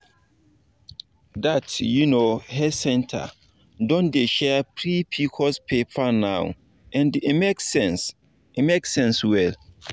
that um health center don dey share free pcos paper now and e make sense e make sense well.